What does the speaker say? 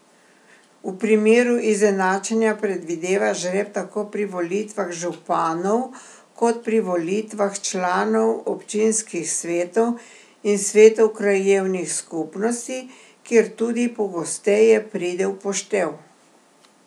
V primeru izenačenja predvideva žreb tako pri volitvah županov kot pri volitvah članov občinskih svetov in svetov krajevnih skupnosti, kjer tudi pogosteje pride v poštev.